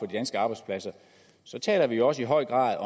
danske arbejdspladser taler vi også i høj grad